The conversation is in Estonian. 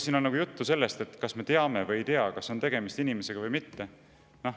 Siin oli juttu sellest, et kas me teame või ei tea ja kas tegemist on inimesega või mitte.